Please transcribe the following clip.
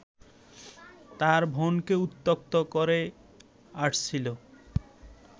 তার বোনকে উত্ত্যক্ত করে আসছিল